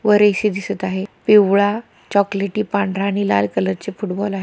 वर ए_सी दिसत आहे. पिवळा चॉकलेटी पांढरा आणि लाल कलरचे फूटबॉल आहे.